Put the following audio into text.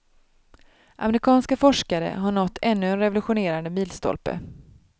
Amerikanska forskare har nått ännu en revolutionerande milstolpe.